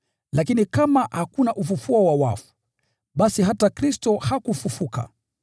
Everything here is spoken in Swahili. Lakini kama hakuna ufufuo wa wafu, basi hata Kristo hakufufuliwa.